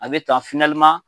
A bɛ tan